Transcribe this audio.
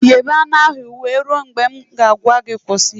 Ghebe anụ ahụ wee rue na m a gwa gị kwụsị